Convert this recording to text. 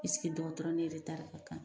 esige dɔgɔtɔrɔ ni yɛrɛ eretari ka kan